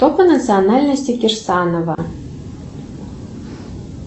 кто по национальности кирсанова